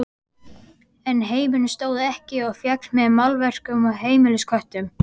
En heimurinn stóð ekki og féll með málverkum og heimilisköttum.